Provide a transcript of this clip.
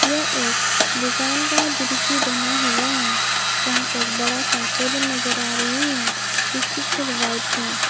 यह एक दुकान का दृश्य बना हुआ है जहां पे एक बड़ा सा टेबल नजर आ रही है जिसकी कलर व्हाइट है।